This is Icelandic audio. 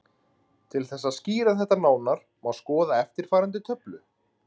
Til þess að skýra þetta nánar má skoða eftirfarandi töflu: